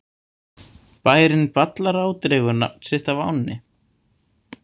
Bærinn Ballará dregur nafn sitt af ánni.